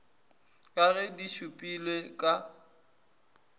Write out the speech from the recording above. ka ge di šupilwe ka